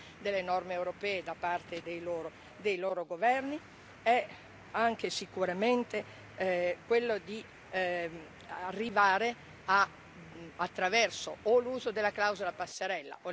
È anche sicuramente quello di arrivare, attraverso l'uso della clausola passerella o le modifiche dei trattati, a un vero processo di codecisione.